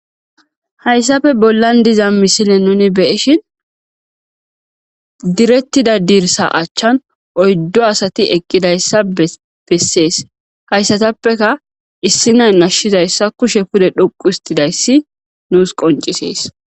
Hayssafe bollan diza misile nuni beyishin direttida diirsa achchan oyddo asati eqqidayssa bessees hayssatappeka issi nay nashshizayssa kushe pude dhuqu histidayssi nuus qoncisees.